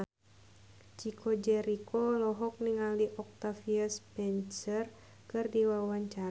Chico Jericho olohok ningali Octavia Spencer keur diwawancara